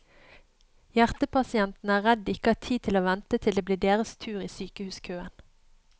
Hjertepasientene er redd de ikke har tid til å vente til det blir deres tur i sykehuskøen.